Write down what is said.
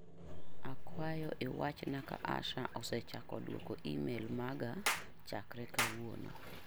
Akwayo iwachna ka Asha osechako duoko imel maga chakre kawuono.